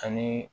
Ani